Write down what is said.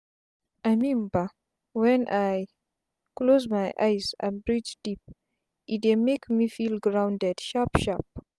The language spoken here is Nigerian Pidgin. i mean bah wen i close my eyes and breathe deep e dey make me feel grounded sharp sharp